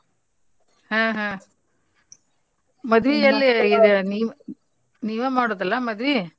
ಹಾ ಹಾ ನೀವ ಮಾಡೋದಲ್ಲಾ ಮದ್ವಿ?